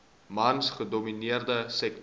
mans gedomineerde sektor